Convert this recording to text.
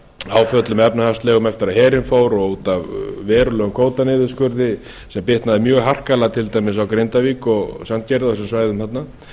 áföllum efnahagslegum eftir að herinn fór út af verulegum kvótaniðurskurði sem bitnaði mjög harkalega til dæmis á grindavík og sandgerði og þessum svæðum þarna